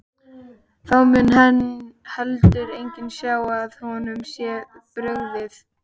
Þá mun heldur enginn sjá að honum sé brugðið.